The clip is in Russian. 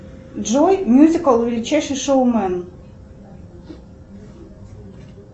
джой мюзикл величайший шоумен